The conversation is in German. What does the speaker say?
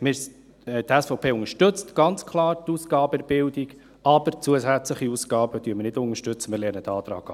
Die SVP unterstützt ganz klar die Ausgaben in der Bildung, aber zusätzliche Ausgaben unterstützen wir nicht.